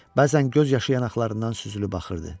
Bəzən göz yaşı yanaqlarından süzülüb axırdı.